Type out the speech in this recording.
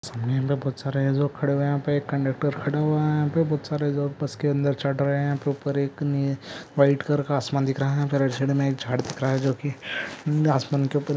सामने येहा बहुत सारे लोग कड़े हुवे है एक कंडक्टर कड़े हुवे है वह पे बहुत सारे लोग बस क अंधर चढ़रा है ऊपर एक नी वाइट कलर आसमान दिखरा है मे एक जाड दिखरा है जोक आसमान के ऊपर--